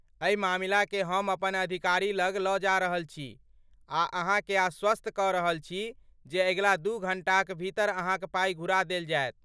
एहि मामिलाकेँ हम अपन अधिकारी लग लऽ जा रहल छी आ अहाँकेँ आश्वस्त कऽ रहल छी जे अगिला दू घण्टाक भीतर अहाँक पाइ घुरा देल जायत।